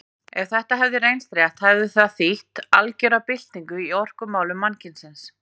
Ef þetta hefði reynst rétt hefði það þýtt algera byltingu í orkumálum mannkynsins.